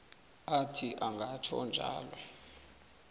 athi angatjho njalo